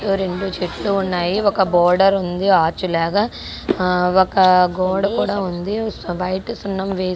ఓ రెండు చెట్లు ఉన్నాయ్. ఒక బోర్డర్ ఉంది. ఆర్చ్ లాగా ఒక గోడ కూడా ఉంది. సు బయట సున్నం వేసి--